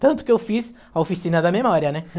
Tanto que eu fiz a oficina da memória, né?